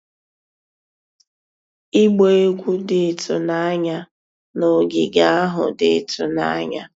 Ịgba egwu dị ịtụnanya na ogige ahụ dị ịtụnanya.